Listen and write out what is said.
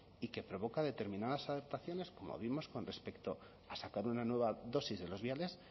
y que provoca determinadas adaptaciones como vimos con respecto a sacar una nueva dosis de los viales